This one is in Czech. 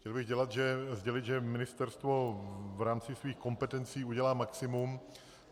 Chtěl bych sdělit, že ministerstvo v rámci svých kompetencí udělá maximum.